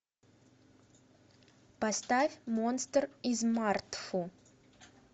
поставь монстр из мартфу